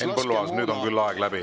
Henn Põlluaas, nüüd on küll aeg läbi.